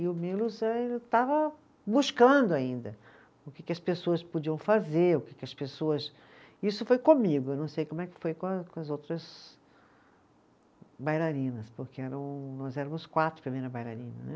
E o Milos estava buscando ainda o que que as pessoas podiam fazer, o que que as pessoas. Isso foi comigo, não sei como é que foi com a, com as outras bailarinas, porque eram, nós éramos quatro, primeira bailarina, né.